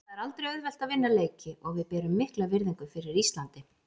Það er aldrei auðvelt að vinna leiki og við berum mikla virðingu fyrir Íslandi.